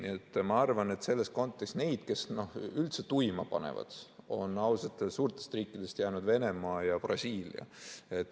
Nii et ma arvan, et selles kontekstis neid, kes üldse tuima panevad, on ausalt öeldes suurtest riikidest jäänud ainult Venemaa ja Brasiilia.